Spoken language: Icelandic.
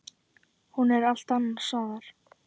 Hún er allt annars staðar.